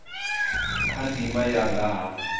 kha ndimana ya nga ha